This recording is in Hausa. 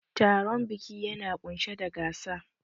Taron biki yana ƙunshe da gasa.